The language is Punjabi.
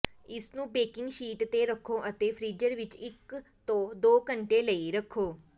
ਇਸਨੂੰ ਬੇਕਿੰਗ ਸ਼ੀਟ ਤੇ ਰੱਖੋ ਅਤੇ ਫ੍ਰੀਜ਼ਰ ਵਿਚ ਇਕ ਤੋਂ ਦੋ ਘੰਟੇ ਲਈ ਰੱਖੋ